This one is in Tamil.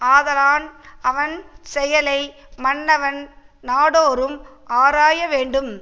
ஆதலான் அவன் செயலை மன்னவன் நாடோறும் ஆராய வேண்டும்